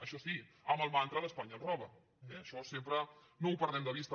això sí amb el mantra d’ espanya ens roba eh això sempre no ho perdem de vista